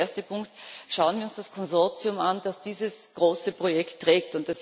Der erste Punkt Schauen wir uns das Konsortium an, das dieses große Projekt trägt.